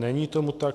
Není tomu tak.